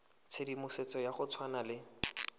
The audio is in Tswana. tshedimosetso ya go tshwana le